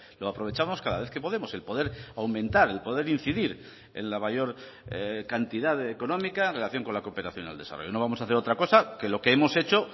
lo aprovechamos cada vez que podemos el poder aumentar el poder incidir en la mayor cantidad económica en relación con la cooperación al desarrollo no vamos a hacer otra cosa que lo que hemos hecho